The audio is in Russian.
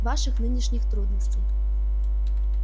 ваших нынешних трудностей